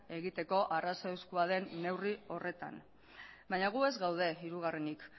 egiteko arrazoizkoa den neurri horretan baina gu ez gaude hirugarrenik